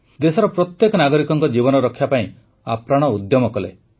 ଦେଶର ପ୍ରତ୍ୟେକ ନାଗରିକଙ୍କ ଜୀବନ ରକ୍ଷା ପାଇଁ ଆପ୍ରାଣ ଉଦ୍ୟମ କଲେ